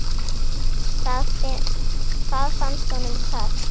Það fannst honum töff.